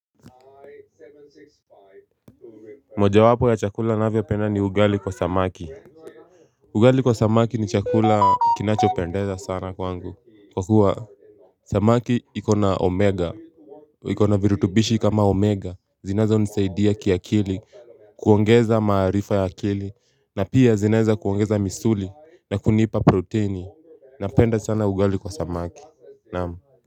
Moja wapo ya chakula navio penda ni ugali kwa samaki ugali kwa samaki ni chakula kinacho pendeza sana kwangu Kwa kuwa samaki ikona omega ikona virutubishi kama omega zinazoweza kunisaidia kia kili kuongeza maarifa ya akili na pia zinaza kuongeza misuli na kunipa proteini na penda sana ugali kwa samaki Naam.